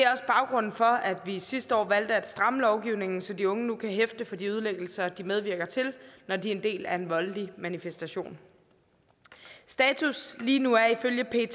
også baggrunden for at vi sidste år valgte at stramme lovgivningen så de unge nu kan hæfte for de ødelæggelser de medvirker til når de er en del af en voldelig manifestation status lige nu er ifølge pet